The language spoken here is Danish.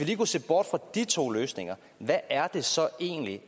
lige kunne se bort fra de to løsninger hvad er det så egentlig